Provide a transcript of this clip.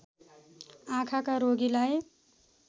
आँखाका रोगीलार्ई